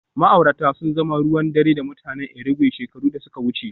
Ma'aurata sun zama ruwan dare da mutanen Irigwe shekaru da suka wuce